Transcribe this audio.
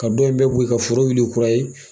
Ka dɔ in bɛɛ bɔ ye, ka foro wili kura ye.